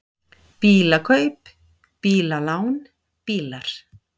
BÍLAKAUP, BÍLALÁN, BÍLAR